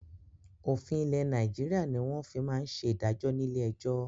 Òfin ilẹ̀ Nàìjíríà ni wọn fi máa ń ṣe ìdájọ́ ni ilé ẹjọ́